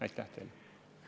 Aitäh teile!